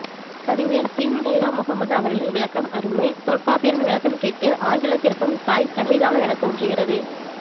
கவிஞர் சீனி நைனா முகமது அவர்களின் விளக்கம் அருமை தொல்காப்பியரின் விளக்கம் கேட்டு ஆங்கிலத்திற்கும் தாய் தமிழ்தானோ எனத்தோன்றுகிறது